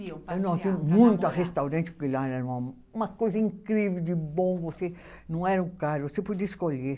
Iam passear. Muito a restaurante, porque lá era uma, uma coisa incrível de bom, você não era caro, você podia escolher.